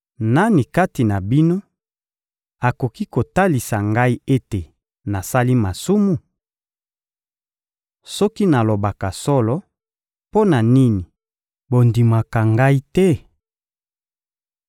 Nani kati na bino akoki kotalisa Ngai ete nasali masumu? Soki nalobaka solo, mpo na nini bondimaka Ngai te?